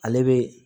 Ale be